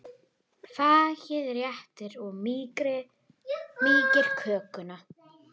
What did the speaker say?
Fargið þéttir og mýkir kökuna.